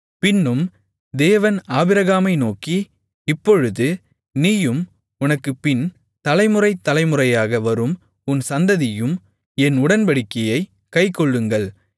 பின்னும் தேவன் ஆபிரகாமை நோக்கி இப்பொழுது நீயும் உனக்குப்பின் தலை முறை தலை முறையாக வரும் உன் சந்ததியும் என் உடன்படிக்கையைக் கைக்கொள்ளுங்கள்